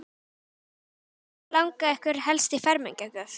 Hödd: Hvað langar ykkur helst í fermingargjöf?